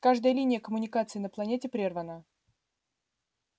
каждая линия коммуникации на планете прервана